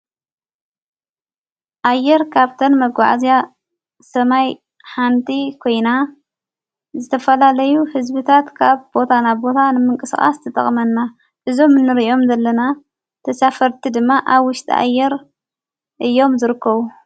ኣየር ካብተን መጐዕእዝያ ሰማይ ሓንቲ ኮይና ዘተፈላለዩ ሕዝቢታት ካብ ቦታናቦታ ንምንቀ ስቓስ ተጠቕመና እዞ ምንርእዮም ዘለና ተሳፈርቲ ድማ ኣውሽጢ ኣየር እዮም ዝርከዉ።